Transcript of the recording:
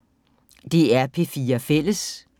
DR P4 Fælles